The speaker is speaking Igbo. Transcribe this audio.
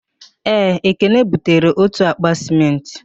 Ee, ekene butere otu akpa sịmentị